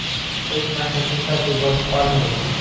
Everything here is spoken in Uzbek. Hech narsa shunchaki bo‘lib qolmaydi.